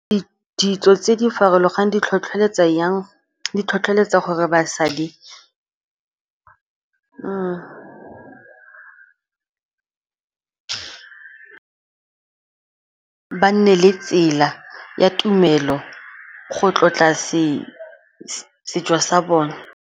Ditso tse di farologaneng di tlhotlholetsa gore basadi ba nne le tsela ya tumelo go tlotla setso sa bone.